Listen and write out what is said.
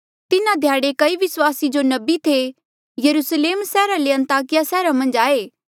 तिन्हा ध्याड़े कई विस्वासी जो नबी थे यरुस्लेम सैहरा ले अन्ताकिया सैहरा मन्झ आये